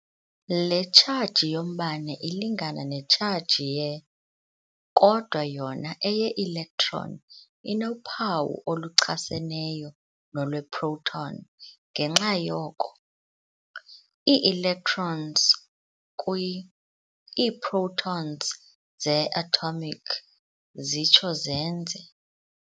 Le tshaji yombane ilingana netshaji ye-], kodwa yona eye-electon inophawu oluchaseneyo nolweproton. ngenxa yoko, ii-electrons ] kwi-iiprotons ze-atomic ] zitsho zenze ].